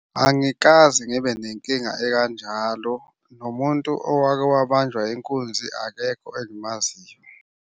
Angikaze ngibe nenkinga ekanjalo, nomuntu owake wabanjwa inkunzi akekho engimaziyo.